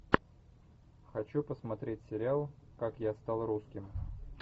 хочу посмотреть сериал как я стал русским